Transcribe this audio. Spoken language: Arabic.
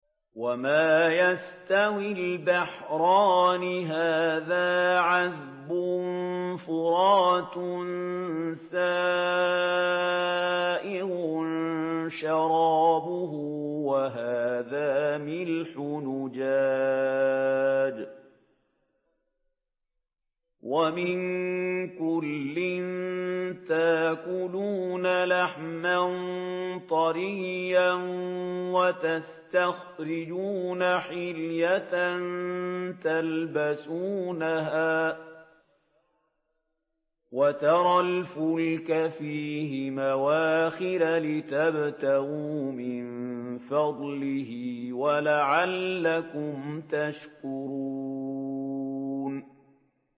وَمَا يَسْتَوِي الْبَحْرَانِ هَٰذَا عَذْبٌ فُرَاتٌ سَائِغٌ شَرَابُهُ وَهَٰذَا مِلْحٌ أُجَاجٌ ۖ وَمِن كُلٍّ تَأْكُلُونَ لَحْمًا طَرِيًّا وَتَسْتَخْرِجُونَ حِلْيَةً تَلْبَسُونَهَا ۖ وَتَرَى الْفُلْكَ فِيهِ مَوَاخِرَ لِتَبْتَغُوا مِن فَضْلِهِ وَلَعَلَّكُمْ تَشْكُرُونَ